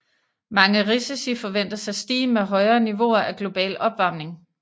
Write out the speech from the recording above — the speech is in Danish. Mange risici forventes at stige med højere niveauer af global opvarmning